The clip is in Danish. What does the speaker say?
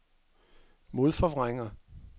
modforvrænger